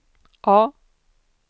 A